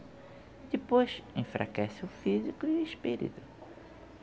Depois, enfraquece o físico e o espírito.